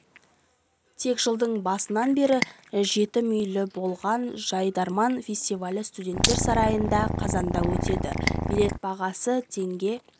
тек жылдың басынан бері жетім үйлі болған жайдарман фестивалі студенттер сарайында қазанда өтеді билет бағасы теңге